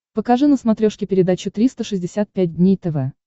покажи на смотрешке передачу триста шестьдесят пять дней тв